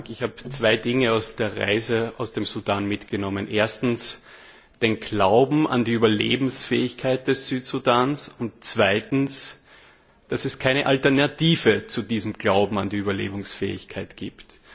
Ich habe zwei Dinge aus der Reise aus dem Sudan mitgenommen Erstens den Glauben an die Überlebensfähigkeit des Südsudans und zweitens, dass es keine Alternative zu diesem Glauben an die Überlebensfähigkeit gibt.